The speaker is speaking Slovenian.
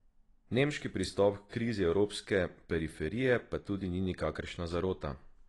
Nemški pristop h krizi evropske periferije pa tudi ni nikakršna zarota.